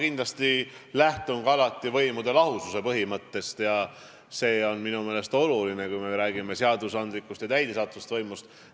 Mina lähtun alati võimude lahususe põhimõttest, see on minu meelest oluline, kui me räägime seadusandlikust ja täidesaatvast võimust.